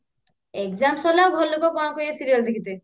exam ସରିଲେ ଆଉ ଘର ଲୋକ କଣ କହିବେ serial ଦେଖିତେ